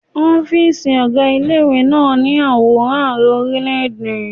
Ọ́fíìsì ọgá ilé ìwé náà ní àwòrán àrẹ orílẹ̀ẹ̀dè.